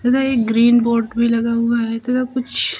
इधर एक green board भी लगा हुआ है तथा कुछ --